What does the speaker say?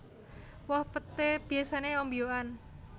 Woh peté biyasané ombyokan